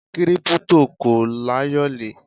Kírípútò kò láyòlé.